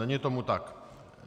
Není tomu tak.